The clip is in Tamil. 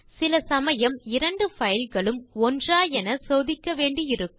சில சமயம் இரண்டு பைல் களும் ஒன்றா என சோதிக்க வேண்டியிருக்கும்